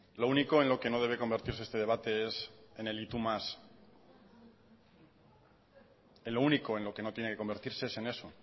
lo único en lo que no debe convertirse este debate es en el y tú más en lo único en lo que no tiene que convertirse es en eso